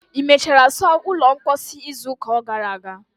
ị mechara saa ulo mposi izu ụka gara aga?